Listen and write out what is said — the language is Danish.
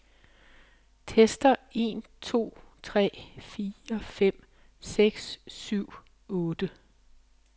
Tester en to tre fire fem seks syv otte.